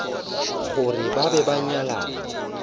gore ba be ba nyalane